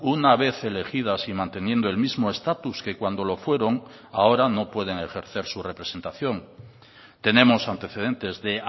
una vez elegidas y manteniendo el mismo estatus que cuando lo fueron ahora no pueden ejercer su representación tenemos antecedentes de